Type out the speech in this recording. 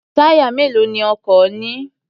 Táyà mélòó ni ọkọ̀ ní?